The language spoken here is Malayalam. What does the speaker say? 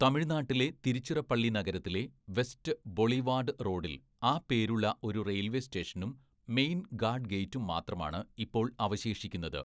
തമിഴ്‌നാട്ടിലെ തിരുച്ചിറപ്പള്ളി നഗരത്തിലെ വെസ്റ്റ് ബൊളിവാഡ് റോഡിൽ ആ പേരുള്ള ഒരു റെയിൽവേ സ്റ്റേഷനും മെയിൻ ഗാഡ് ഗേറ്റും മാത്രമാണ് ഇപ്പോൾ അവശേഷിക്കുന്നത്.